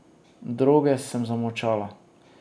Droge sem zamolčala.